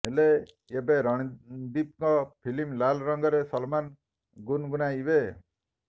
ହେଲେ ଏବେ ରଣଦୀପଙ୍କ ଫିଲ୍ମ ଲାଲ ରଙ୍ଗରେ ସଲମାନ ଗୁନଗୁନାଇବେ